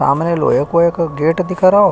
सामने लोहे को एक गेट दिख रहो।